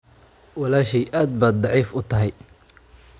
walaashay aad ba daciif u tahay.